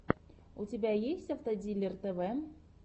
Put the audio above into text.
у тебя есть автодилер тв